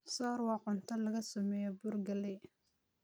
soor waa cunto laga sameeyay bur galley